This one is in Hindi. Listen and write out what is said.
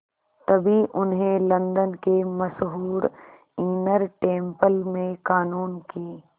तभी उन्हें लंदन के मशहूर इनर टेम्पल में क़ानून की